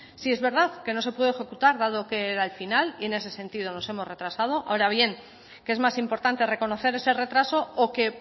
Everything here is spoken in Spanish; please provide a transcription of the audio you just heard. sí es verdad que no se pudo ejecutar dado que era el final y en ese sentido nos hemos retrasado ahora bien qué es más importante reconocer ese retraso o que